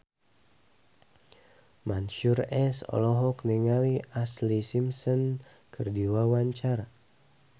Mansyur S olohok ningali Ashlee Simpson keur diwawancara